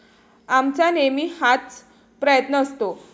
आमचा नेहमी हाच प्रयत्न असतो.